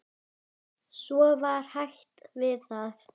Svo var hætt við það.